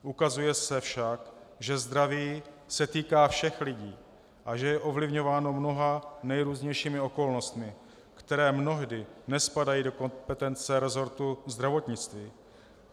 Ukazuje se však, že zdraví se týká všech lidí a že je ovlivňováno mnoha nejrůznějšími okolnostmi, které mnohdy nespadají do kompetence resortu zdravotnictví.